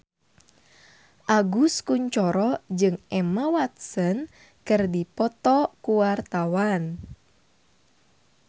Agus Kuncoro jeung Emma Watson keur dipoto ku wartawan